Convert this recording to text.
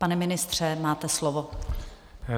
Pane ministře, máte slovo.